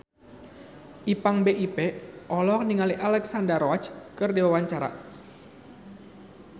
Ipank BIP olohok ningali Alexandra Roach keur diwawancara